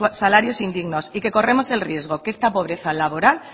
salarios indignos y que corremos el riesgo que esta pobreza laboral